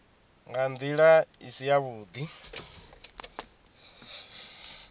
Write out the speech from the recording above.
nga ndila i si yavhudi